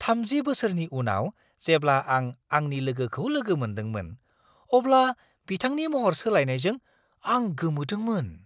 30 बोसोरनि उनाव जेब्ला आं आंनि लोगोखौ लोगो मोनदोंमोन, अब्ला बिथांनि महर सोलायनायजों आं गोमोदोंमोन!